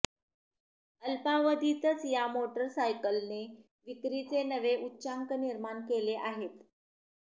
अल्पावधीतच या मोटरसायकलने विक्रीचे नवे उच्चांक निर्माण केले आहेत